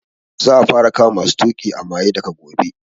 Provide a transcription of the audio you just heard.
Za a fara kama masu tuƙi a maye daga gobe